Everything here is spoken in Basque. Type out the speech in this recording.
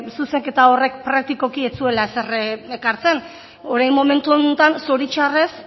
zuzenketa horrek praktikoki ez zuela ezer ekartzen orain momentu honetan zoritzarrez